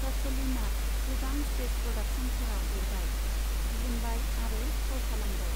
कचलिनआ गोबां स्टेज प्रोडक्शनफोराव लिरबाय, दिहुनबाय आरो फाव खालामबाय।